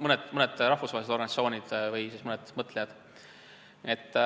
mõned rahvusvahelised organisatsioonid või siis mõned mõtlejad.